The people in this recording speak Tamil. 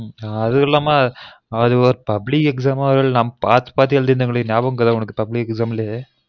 அதுவும் இல்லாம அது ஒரு public exam அதுல நாம்ம பாத்து பாத்து எழுதிக்குனு இருந்தொமே உனக்கு ஞாபகம் இருக்கா public exam லே